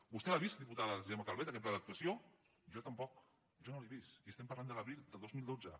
vostè l’ha vist diputada gemma calvet aquest pla d’actuació jo tampoc jo no l’he vist i estem parlant de l’abril del dos mil dotze